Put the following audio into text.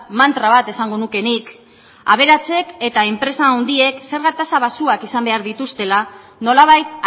mantra bat esango nuke nik aberatsek eta enpresa handiek zerga tasak baxuak izan behar dituztela nolabait